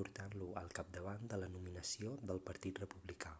portant-lo al capdavant de la nominació del partit republicà